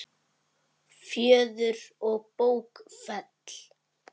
Fjöður og bókfell